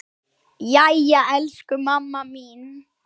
Jæja elsku mamma mín.